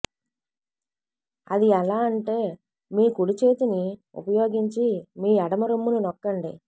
అది ఎలా అంటే మీ కుడి చేతిని ఉపయోగించి మీ ఎడమ రొమ్మును నొక్కండి